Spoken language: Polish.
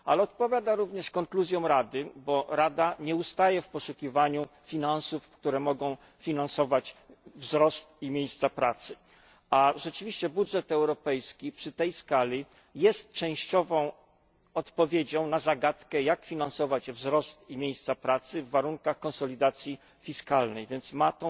Ta propozycja odpowiada również konkluzjom Rady, bo Rada nie ustaje w poszukiwaniu środków, którymi można finansować wzrost i miejsca pracy, a rzeczywiście budżet europejski przy tej skali jest częściową odpowiedzią na zagadkę, jak finansować wzrost i miejsca pracy w warunkach konsolidacji fiskalnej, więc odgrywa